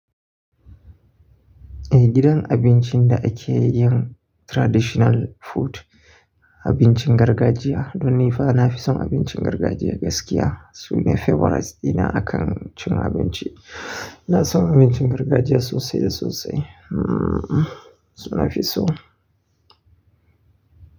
Eh gidan abincin da ake yin traditional food, abincin gargajiya. Don ni fa na fi son abincin gargajiya gaskiya. Su ne favorites dina a kan cin abinci. Ina son abincin gargajiya sosai da sosai. Hmmm! Su nafi so.